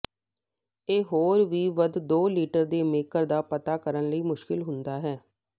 ਇਹ ਹੋਰ ਵੀ ਵੱਧ ਦੋ ਲੀਟਰ ਦੇ ਮੇਕਰ ਦਾ ਪਤਾ ਕਰਨ ਲਈ ਮੁਸ਼ਕਲ ਹੁੰਦਾ ਹੈ